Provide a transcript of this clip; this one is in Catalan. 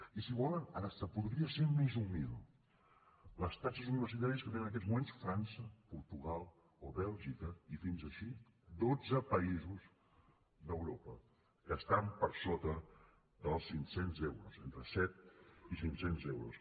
i si volen fins i tot podria ser més humil les taxes universitàries que tenen en aquests moments frança portugal o bèlgica i així fins a dotze països d’europa que estan per sota dels cinc cents euros entre set i cinc cents euros